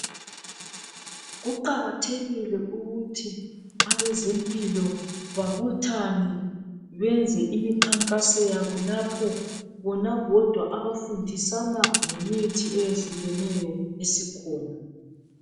Kuqakathekile ukuthi abazempilo babuthane benze imikhankaso yabo lapho bona bodwa abafundisana ngemithi eyehlukeneyo esikhona.